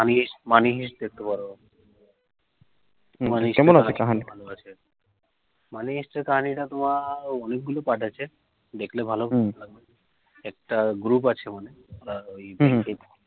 moneyheist money heist দেখতে পারো, কেমন আছে কাহানি টা money heist এর কাহানিটা তোমার ওই part আছে দেখলে ভালো, একটা group আছে